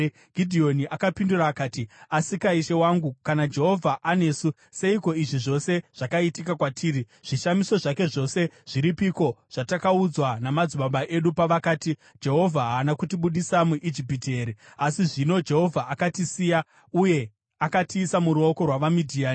Gidheoni akapindura akati, “Asika, ishe wangu, kana Jehovha anesu, seiko izvi zvose zvakaitika kwatiri? Zvishamiso zvake zvose zviripiko zvatakaudzwa namadzibaba edu pavakati, ‘Jehovha haana kutibudisa muIjipiti here?’ Asi zvino Jehovha akatisiya uye akatiisa muruoko rwavaMidhiani.”